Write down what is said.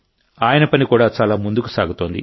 ఆయన పని కూడా చాలా ముందుకు సాగుతోంది